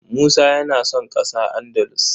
Musa yana son ƙasa Andalus.